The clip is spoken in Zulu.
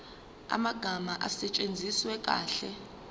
amagama asetshenziswe kahle